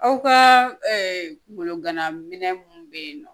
Aw ka kungolo gana minɛ mun be yen nɔ